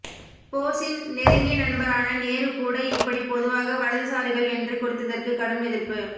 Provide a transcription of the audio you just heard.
போஸின் நெருங்கிய நண்பரான நேரு கூட இப்படி பொதுவாக வலதுசாரிகள் என்று குறித்ததற்கு கடும் எதிர்ப்பு